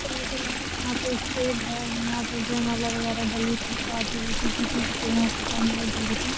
Hotel है। यहाँ पर स्टेज है यहाँ पर जयमाला वेय डली थी। शादी हुई थी। दीदी की तो यहाँ जयमाला डली थी।